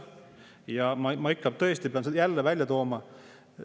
Ja ma ikka pean selle jälle välja tooma.